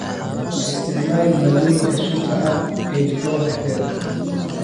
Ha isticmaalin maaddooyinka sunta ah ee jikada dhexdeeda.